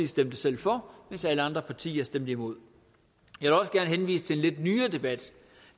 stemte selv for mens alle andre partier stemte imod jeg også gerne henvise til en lidt nyere debat